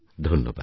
ধন্যবাদ